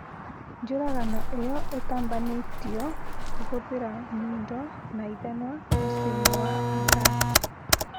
Njũragano ĩyo ĩtabanĩtio kũhũthĩra nyundo na ithanwa mũciĩ-inĩ wa Angarsk